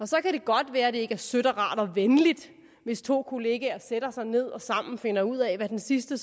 så kan det godt være at det ikke er sødt og rart og venligt hvis to kollegaer sætter sig ned og sammen finder ud af hvad den sidste